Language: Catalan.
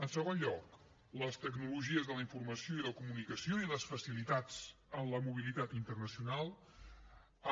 en segon lloc les tecnologies de la informació i la comunicació i les facilitats en la mobilitat internacional